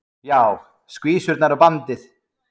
Heimir: Já, skvísurnar og bandið?